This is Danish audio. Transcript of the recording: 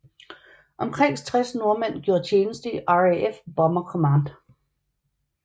Omkring 60 nordmænd gjorde tjeneste i RAF Bomber Command